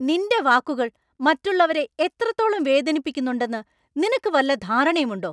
നിൻ്റെ വാക്കുകൾ മറ്റുള്ളവരെ എത്രത്തോളം വേദനിപ്പിക്കുന്നുണ്ടെന്ന് നിനക്ക് വല്ല ധാരണയും ഉണ്ടോ?